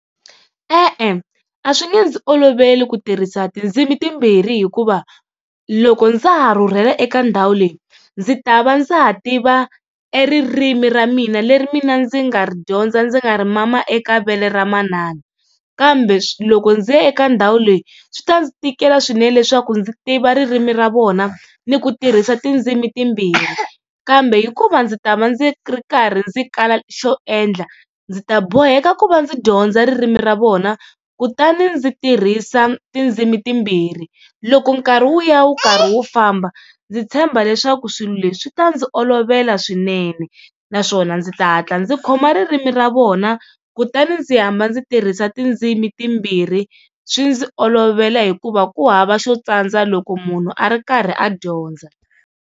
E-e a swi nge ndzi oloveli ku tirhisa tindzimi timbirhi hikuva, loko ndza ha rhurhela eka ndhawu leyi ndzi ta va ndza ha tiva e ririmi ra mina leri mina ndzi nga ri dyondza ndzi nga ri mama eka vele ra manana. Kambe loko ndzi ya eka ndhawu leyi swi ta ndzi tikela swinene leswaku ndzi tiva ririmi ra vona ni ku tirhisa tindzimi timbirhi, kambe hikuva ndzi ta va ndzi ri karhi ndzi kala xo endla ndzi ta boheka ku va ndzi dyondza ririmi ra vona kutani ndzi tirhisa tindzimi timbirhi. Loko nkarhi wu ya wu karhi wu famba ndzi tshemba leswaku swilo leswi swi ta ndzi olovela swinene naswona ndzi ta hatla ndzi khoma ririmi ra vona kutani ndzi hamba ndzi tirhisa tindzimi timbirhi swi ndzi olovela hikuva ku hava xo tsandza loko munhu a ri karhi a dyondza.